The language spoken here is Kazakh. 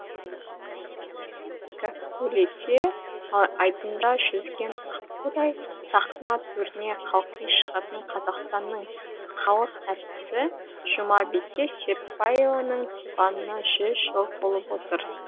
гәккулете айдында жүзген аққудай сахна төріне қалқи шығатын қазақстанның халық артисі жұмабике серікбаеваның туғанына жүз жыл толып отыр